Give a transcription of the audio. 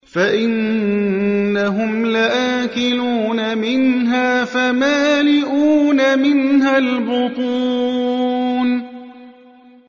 فَإِنَّهُمْ لَآكِلُونَ مِنْهَا فَمَالِئُونَ مِنْهَا الْبُطُونَ